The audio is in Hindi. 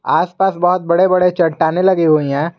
आसपास बहुत बड़े बड़े चट्टानें लगे हुई हैं।